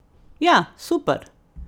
Ja, super!